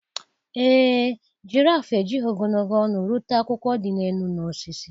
Ee e, girafụ ejighị ogologo olu rute akwụkwọ dị elu n’osisi.